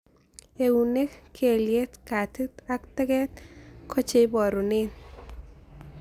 Eunek ,kelyek, katit, ak taget ko che iparunee